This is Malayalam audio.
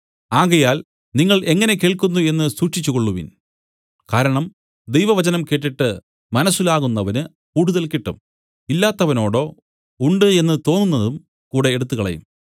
ആകയാൽ നിങ്ങൾ എങ്ങനെ കേൾക്കുന്നു എന്നു സൂക്ഷിച്ചുകൊള്ളുവിൻ കാരണം ദൈവവചനം കേട്ടിട്ട് മനസ്സിലാകുന്നവനു കൂടുതൽ കിട്ടും ഇല്ലാത്തവനോടോ ഉണ്ട് എന്നു തോന്നുന്നതും കൂടെ എടുത്തുകളയും